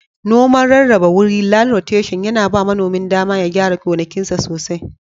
Noman rarraba wuri/ lan roteshin yana ba manomin dama ya gyara gonakinsa sosai.